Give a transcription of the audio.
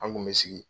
An kun bɛ sigi